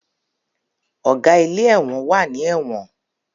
Ọ̀gá ilé ẹ̀wọ̀n wà ní ẹ̀wọ̀n